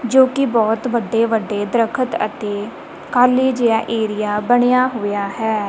ਜੋ ਕਿ ਬਹੁਤ ਵੱਡੇ ਵੱਡੇ ਦਰਖਤ ਅਤੇ ਖਾਲੀ ਜਿਹਾ ਏਰੀਆ ਬਣਿਆ ਹੋਇਆ ਹੈ।